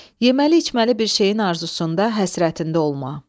Yeməli-içməli bir şeyin arzusunda, həsrətində olma.